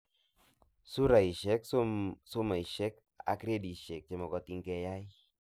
Suraishek, somoishek ak gradishek chemagatin keyay